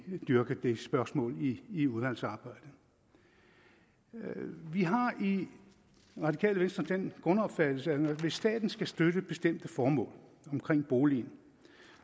dyrke det spørgsmål i udvalgsarbejdet vi har i radikale venstre den grundopfattelse at hvis staten skal støtte bestemte formål omkring boligen